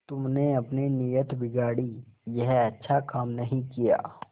तुमने अपनी नीयत बिगाड़ी यह अच्छा काम नहीं किया